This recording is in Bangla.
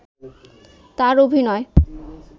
তার অভিনয়